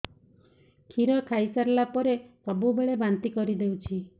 କ୍ଷୀର ଖାଇସାରିଲା ପରେ ସବୁବେଳେ ବାନ୍ତି କରିଦେଉଛି